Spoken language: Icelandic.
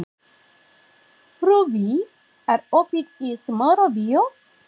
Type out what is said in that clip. Rúbý, er opið í Smárabíói?